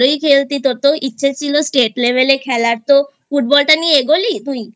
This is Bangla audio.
খেলতি তোর তো ইচ্ছে ছিল State Level এ খেলার তো Football টা নিয়ে এগলি তুই?